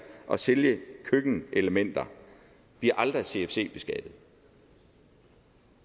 og sælge køkkenelementer bliver aldrig cfc beskattet